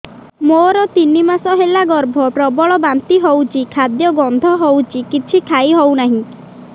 ମୋର ତିନି ମାସ ହେଲା ଗର୍ଭ ପ୍ରବଳ ବାନ୍ତି ହଉଚି ଖାଦ୍ୟ ଗନ୍ଧ ହଉଚି କିଛି ଖାଇ ହଉନାହିଁ